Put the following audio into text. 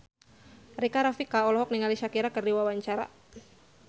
Rika Rafika olohok ningali Shakira keur diwawancara